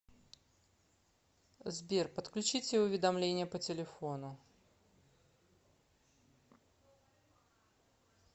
сбер подключите уведомление по телефону